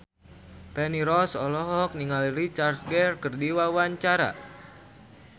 Feni Rose olohok ningali Richard Gere keur diwawancara